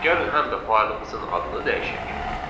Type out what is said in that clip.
Gəlin həm də faylımızın adını dəyişək.